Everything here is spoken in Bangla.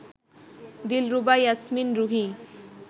দিলরুবা ইয়াসমিন রুহী